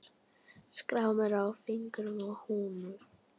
Skrámur á fingrum og hnúum.